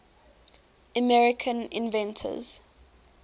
american inventors